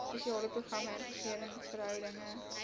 spesiale programme interregeringsverhoudinge